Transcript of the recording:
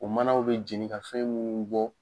O manaw bɛ jeni ka fɛn munnu bɔ.